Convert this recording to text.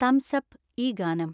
thumbs up ഈ ഗാനം